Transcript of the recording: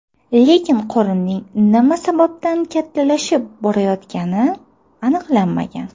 Lekin qorinning nima sababdan kattalashib borayotgani aniqlanmagan.